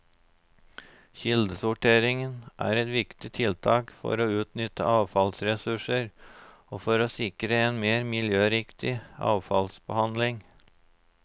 Kildesortering er et viktig tiltak for å utnytte avfallsressurser og for å sikre en mer miljøriktig avfallsbehandling.